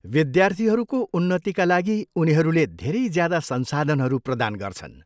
विद्यार्थीहरूको उन्नतिका लागि उनीहरूले धेरै ज्यादा संसाधनहरू प्रदान गर्छन्।